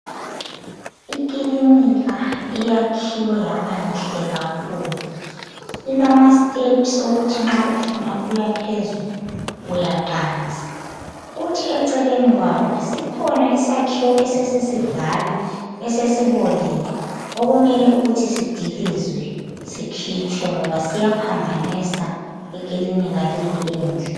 Ikilinika eyakhiwe yabanhle kakhulu, ilamasteps okuthi nxa ufuna ukuya phezulu uyaqansa kuthi eceleni kwayo sikhona isakhiwo esesisidala esesibolile ukuthi kumele sidilizwe sikhitshwe ngoba siyaphambanisa ikilinika leyi enhle.